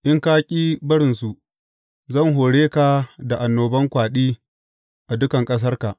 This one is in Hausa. In ka ƙi barinsu, zan hore ka da annoban kwaɗi a dukan ƙasarka.